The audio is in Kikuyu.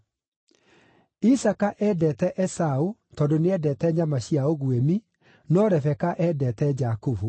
Isaaka eendete Esaũ tondũ nĩ eendete nyama cia ũguĩmi, no Rebeka eendete Jakubu.